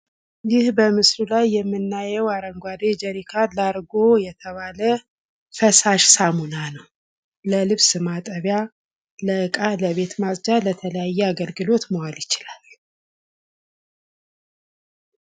ይህ በምስሉ ላይ የምናየው አረንጓዴ ጀሪካን ላርጎ የተባለ ፈሳሽ ሳሙና ነው። ለልብስ ማጠቢያ ለእቃ ለቤት ማጽጃ ለተለያየ አገልግሎት መዋል ይችላል።